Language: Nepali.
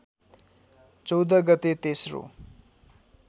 चौध गते तेस्रो